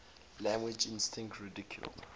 language instinct ridiculed